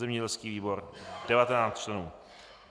zemědělský výbor 19 členů.